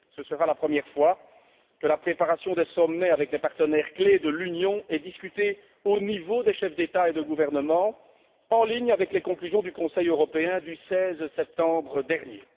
Ce sera la première fois que la préparation des sommets avec les partenaires clés de l'Union sera discutée au niveau des chefs d'État et de gouvernement, en ligne avec les conclusions du Conseil européen du 16 septembre dernier.